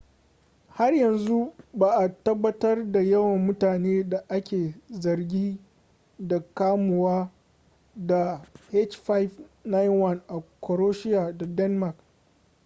har yanzu ba’a tabbatar da yawan mutane da ake zargi da kamuwa da h5n1 a croatia da denmark